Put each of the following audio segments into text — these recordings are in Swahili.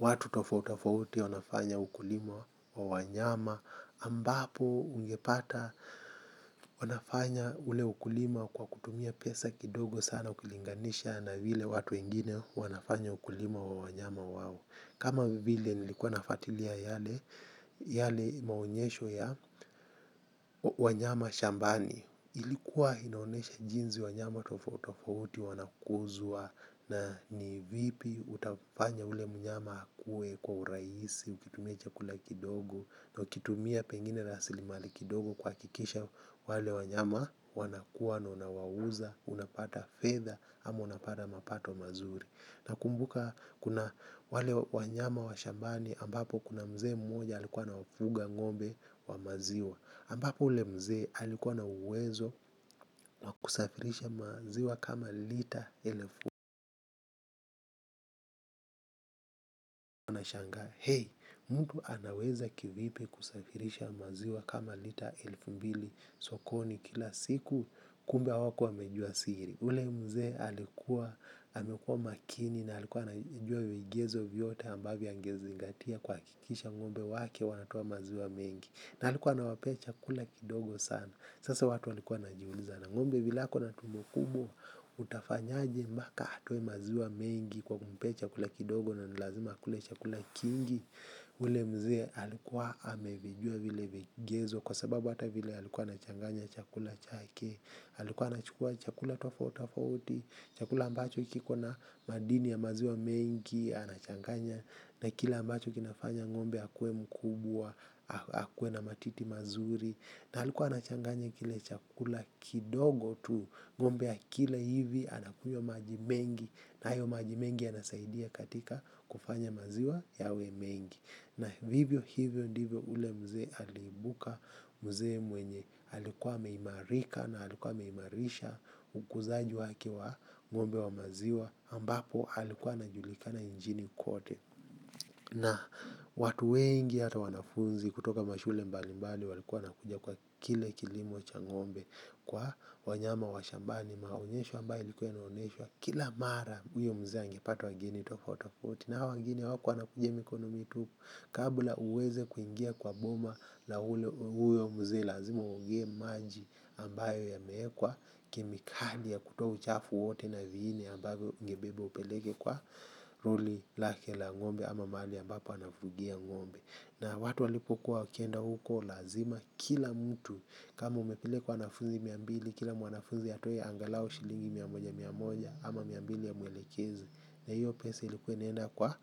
watu tofauti tofauti wanafanya ukulima wa wanyama ambapo ungepata wanafanya ule ukulima kwa kutumia pesa kidogo sana ukilinganisha na vile watu wengine wanafanya ukulima wa wanyama wao kama vile nilikuwa nafatilia yale maonyesho ya wanyama shambani ilikuwa inaonyesha jinsi wanyama tofauti tofauti wanakuzwa na ni vipi utafanya ule mnyama akue kwa urahisi ukitumia chakula kidogo na ukitumia pengine rasilimali kidogo kuhakikisha wale wanyama wanakua na unawauza. Unapata fedha ama unapata mapato mazuri. Nakumbuka kuna wale wanyama wa shambani ambapo kuna mzee mmoja alikuwa ana wafuga ngombe wa maziwa ambapo ule mzee alikuwa na uwezo kusafirisha maziwa kama lita elfu na shangaa mtu anaweza kivipi kusafirisha maziwa kama lita elfu mbili sokoni kila siku kumbe hawakua wamejua siri. Ule mzee alikuwa, amekua makini na alikuwa anajua viegezo vyote ambavyo angezingatia kuhakikisha ngombe wake wanatoa maziwa mengi na alikuwa anawapee chakula kidogo sana. Sasa watu walikuwa wanajiuliza na ngombe vile ako na tumbo kubwa utafanyaje mbaka atoe maziwa mengi kwa kumpee chakula kidogo na nilazima kule chakula kingi ule mzee alikuwa amevijua vile vigezo kwa sababu hata vile alikuwa anachanganya chakula chake, alikuwa anachukua chakula tofauti tofauti chakula ambacho kiko na madini ya maziwa mengi, anachanganya na kile ambacho kinafanya ngombe akue mkubwa, akuwe na matiti mazuri, na alikuwa anachanganya kile chakula kidogo tu ngombe akila hivi anakunywa maji mengi na hayo maji mengi yanasaidia katika kufanya maziwa yawe mengi na vivyo hivyo ndivyo ule mzee aliibuka mzee mwenye alikuwa ameimarika na alikuwa ameimarisha ukuzaji wake wa ngombe wa maziwa ambapo alikuwa anajulikana nchini kote na watu wengi hata wanafunzi kutoka mashule mbalimbali walikuwa wanakuja kwa kile kilimo cha ngombe. Kwa wanyama wa shambani maonyesho ambayo ilikuwa inaonyeshwa kila mara huyo mzee angepata wageni tofauti tofauti na hawa wageni hawakua wanakuja mikono mitupu. Kabla uweze kuingia kwa boma la huyo mzee lazima uogee maji ambayo yameekwa kemikali ya kutoa uchafu wote na viini ambavyo ungebeba upeleke kwa ruli lake la ngombe ama mahali ambapo anafugia ngombe na watu walipokuwa wakienda huko lazima kila mtu kama umepeleka wanafunzi mia mbili. Kila mwanafuzi atoe angalau shilingi mia moja mia moja ama mia mbili ya mwelekezi na hiyo pesa ilikuwa inaenda kwa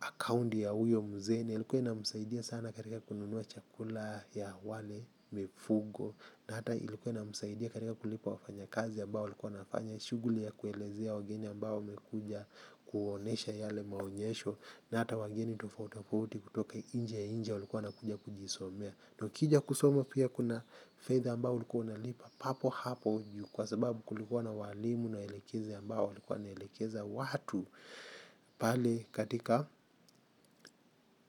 akaunti ya huyo mzee na ilikuwa inamsaidia sana katika kununua chakula ya wale mifugo na hata ilikuwa inamsaidia katika kulipa wafanyakazi ambao walikuwa wanafanya shuguli ya kuelezea wageni ambao wamekuja kuwaonyesha yale maonyesho na hata wageni tofauti tofauti kutoka nje ya nchi walikuwa wanakuja kujisomea. Tukija kusoma pia kuna fedha ambao ulikuwa unalipa papo hapo ju kwa sababu kulikuwa na walimu na waelekezi ambao walikuwa wanaelekeza watu pale katika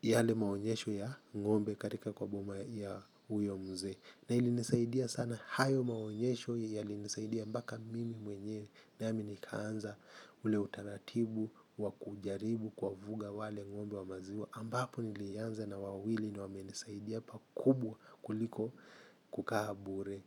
yale maonyesho ya ngombe katika kwa boma ya huyo mzee. Na ilinisaidia sana hayo maonyesho yailinisaidia mpaka mimi mwenyewe nami nikaanza ule utaratibu wa kujaribu kuwafuga wale ngombe wa maziwa. Ambapo nilianza na wawili na wamenisaidia pakubwa kuliko kukaa bure.